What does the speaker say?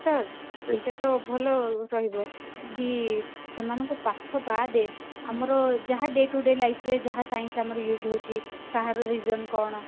ହଁ better ଏଇଟା ତ ଭଲ ରହିବ କି ସେମାନଙ୍କ ପାଠ ବାଦେ ଆମର ଯାହା day to day life ରେ ଯାହା science ଆମର use ହଉଛି କାହାର reason କଣ